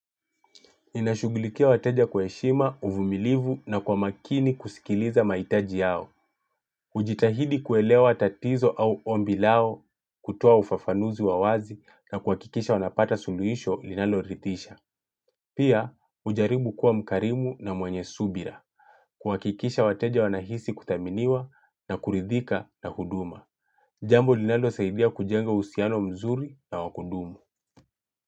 Ninashugulikia wateja kwa heshima, uvumilivu na kwa makini kusikiliza mahitaji yao. Hujitahidi kuelewa tatizo au ombi lao kutoa ufafanuzi wa wazi na kuhakikisha wanapata suluhisho linaloridhisha. Pia, hujaribu kuwa mkarimu na mwenye subira. Kuhakikisha wateja wanahisi kuthaminiwa na kuridhika na huduma. Jambo linalosaidia kujenga uhusiano mzuri na wa kudumu.